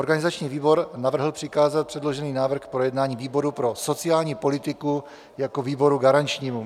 Organizační výbor navrhl přikázat předložený návrh k projednání výboru pro sociální politiku jako výboru garančnímu.